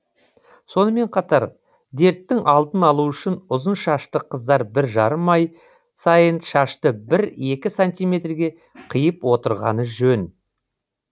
сонымен қатар дерттің алдын алу үшін ұзын шашты қыздар бір жарым ай сайын шашты бір екі сантиметрге қиып отырғаны жөн